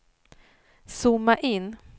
zooma in